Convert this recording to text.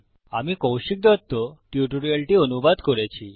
আমি কৌশিক দত্ত টিউটোরিয়ালটি অনুবাদ করেছি